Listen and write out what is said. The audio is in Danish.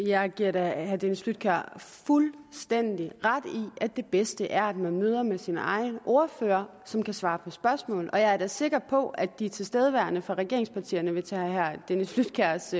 jeg giver da herre dennis flydtkjær fuldstændig ret i at det bedste er at man møder med sin egen ordfører som kan svare på spørgsmål og jeg er da sikker på at de tilstedeværende fra regeringspartierne vil tage herre dennis flydtkjærs